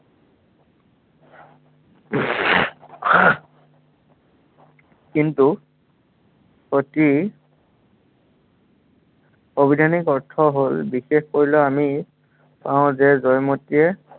কিন্তু সতীৰ অভিধানিক অৰ্থ হ'ল আমি, পাও যে জয়মতীয়ে